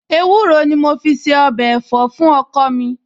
Ewúro ni mo fi se ọbẹ̀ ẹ̀fọ́ fún ọkọ mi